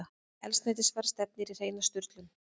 Eldsneytisverð stefnir í hreina sturlun